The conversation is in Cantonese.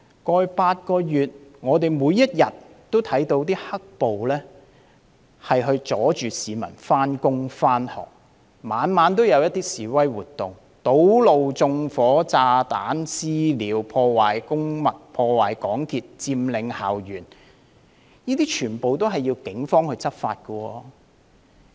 過去8個月，我們每天也看到"黑暴"阻礙市民上班和上學，每晚也有示威活動，堵路、縱火、放置炸彈、"私了"、破壞公物和港鐵設施、佔領校園，這些全都需要警方執法。